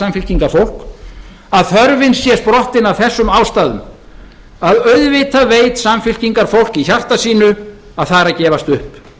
samfylkingarfólk að þörfin sé sprottin af þessum ástæðum að auðvitað veit samfylkingarfólk í hjarta sínu að það er að gefast upp